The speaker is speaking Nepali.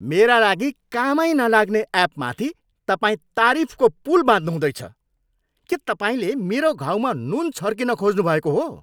मेरा लागि कामै नलाग्ने एपमाथि तपाईँ तारिफको पुल बाँध्नुहुँदैछ। के तपाईँले मेरो घाउमा नुन छर्किन खोज्नुभएको हो?